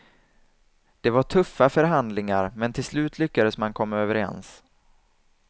Det var tuffa förhandlingar, men till slut lyckades man komma överens.